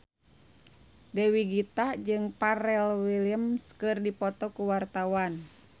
Dewi Gita jeung Pharrell Williams keur dipoto ku wartawan